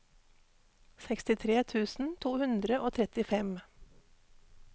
sekstitre tusen to hundre og trettifem